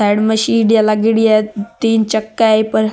साइड में सीढिया लागेड़ी है तीन चक्का है ई पर।